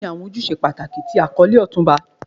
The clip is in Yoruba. Kini awọn ojuse pataki ti akọle Otunba?